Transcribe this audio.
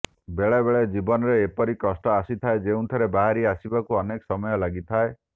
ବେଳେ ବେଳେ ଜୀବନରେ ଏପରି କଷ୍ଟ ଆସିଥାଏ ଯେଉଁଥିରୁ ବାହାରି ଆସିବାକୁ ଅନେକ ସମୟ ଲାଗିଥାଏ